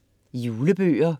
Julebøger